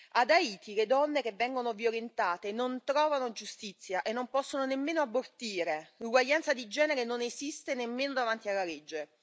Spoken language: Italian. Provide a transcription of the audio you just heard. Ad Haiti le donne che vengono violentate non trovano giustizia e non possono nemmeno abortire, l'uguaglianza di genere non esiste nemmeno davanti alla legge.